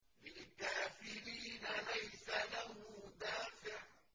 لِّلْكَافِرِينَ لَيْسَ لَهُ دَافِعٌ